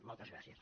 moltes gràcies